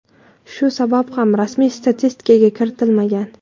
Shu sabab ham rasmiy statistikaga kiritilmagan.